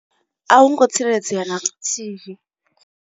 A hu ngo tsireledzea na luthihi.